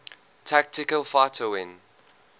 tactical fighter wing